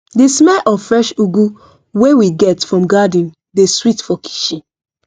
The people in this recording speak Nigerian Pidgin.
the smell of fresh ugu wey we get from garden dey sweet for kitchen